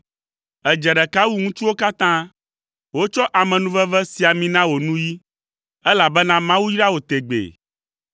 Èdze ɖeka wu ŋutsuwo katã, wotsɔ amenuveve si ami na wò nuyi, elabena Mawu yra wò tegbee.